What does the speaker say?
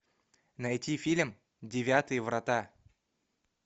найти фильм девятые врата